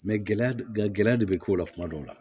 gɛlɛya gɛlɛya de be k'o la kuma dɔw la